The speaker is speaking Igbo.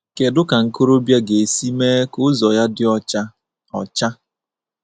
kedụ ka nkorobịa ga-esi mee ka ụzọ ya dị ọcha? ọcha?